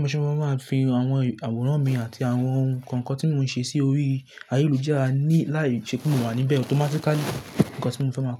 Mo se ma máa fi àwọn awọ̀nrán mi àti àwọn ohun kan kan tí mò ń ṣe sí orí ayélujára ní láì ṣe kí mò wà níbẹ̀. Automatically, nǹkan tí mò fẹ́ máa ko.